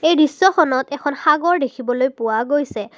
এই দৃশ্যখনত এখন সাগৰ দেখিবলৈ পোৱা গৈছে।